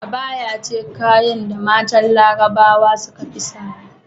Abaya ce kayan da matan larabawa sukafi sawa